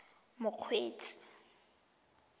mokgweetsi